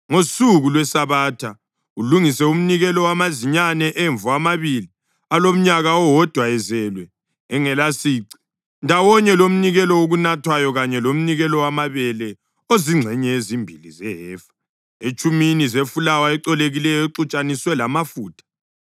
“ ‘Ngosuku lweSabatha, ulungise umnikelo wamazinyane emvu amabili alomnyaka owodwa ezelwe engelasici, ndawonye lomnikelo wokunathwayo kanye lomnikelo wamabele ozingxenye ezimbili zehefa etshumini zefulawa ecolekileyo exutshaniswe lamafutha.